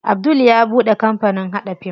Abdul ya buɗe kampanin haɗa fim.